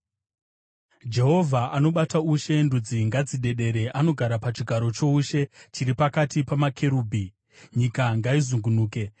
Jehovha anobata ushe, ndudzi ngadzidedere; anogara pachigaro choushe chiri pakati pamakerubhi, nyika ngaizungunuke.